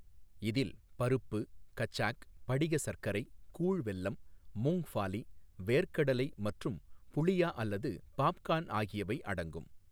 இதில் பருப்பு, கச்சாக், படிக சர்க்கரை, கூழ் வெல்லம், மூங்ஃபாலி வேர்க்கடலை மற்றும் புளியா அல்லது பாப்கார்ன் ஆகியவை அடங்கும்.